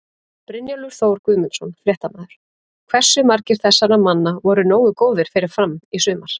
Brynjólfur Þór Guðmundsson, fréttamaður: Hversu margir þessara manna voru nógu góðir fyrir Fram í sumar?